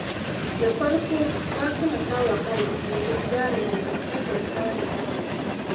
Da farko Fatima ta wahala wajen gyara dangantakarta da ƙannenta.